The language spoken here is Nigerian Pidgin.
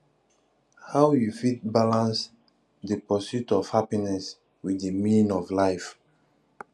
how you fit balance di pursuit of happiness with di meaning of life